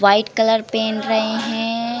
White colour पेहन रहे हैं।